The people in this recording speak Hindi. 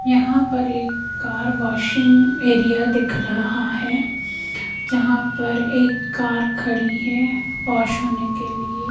यहां पर एक कार वाशिंग एरिया दिख रहा है जहां पर एक कार खड़ी है वाश होने के लिए।